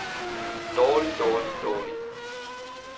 dårlig dårlig dårlig